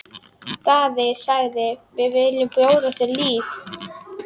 Daði sagði: Við viljum bjóða þér líf!